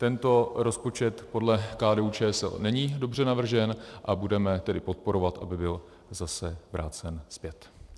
Tento rozpočet podle KDU-ČSL není dobře navržen, a budeme tedy podporovat, aby byl zase vrácen zpět.